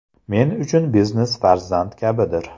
Men uchun biznes farzand kabidir.